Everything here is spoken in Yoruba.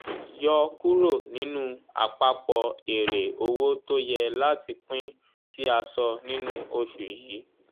yọ kúrò nínú àpapọ̀ èrè owó tó yẹ láti pín tì a sọ nínú oṣù yìí.